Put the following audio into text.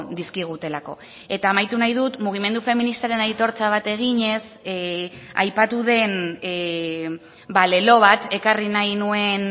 dizkigutelako eta amaitu nahi dut mugimendu feministaren aitortza bat eginez aipatu den lelo bat ekarri nahi nuen